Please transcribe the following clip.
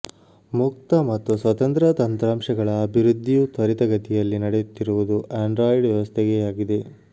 ಮುಕ್ತ ಮತ್ತು ಸ್ವತಂತ್ರ ತಂತ್ರಾಂಶಗಳ ಅಭಿವೃದ್ಧಿಯೂ ತ್ವರಿತಗತಿಯಲ್ಲಿ ನಡೆಯುತ್ತಿರುವುದು ಆಂಡ್ರಾಯಿಡ್ ವ್ಯವಸ್ಥೆಗೇ ಆಗಿದೆ